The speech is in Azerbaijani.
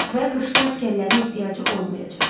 Və qışda əsgərlərin ehtiyacı olmayacaq.